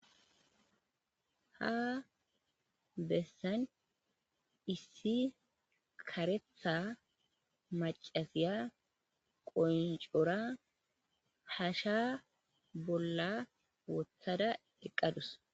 Ha bessan issi karetha macasiya qoncora hasha bolla wothada eqqadus.